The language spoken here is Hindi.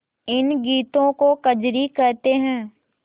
इन गीतों को कजरी कहते हैं